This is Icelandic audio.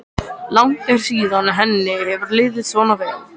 Langt er síðan henni hefur liðið svona vel.